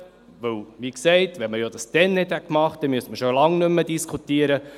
Denn, wie gesagt, wenn man das damals nicht gemacht hätte, müsste man schon lange nicht mehr diskutieren.